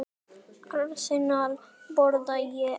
Annars borða ég allt.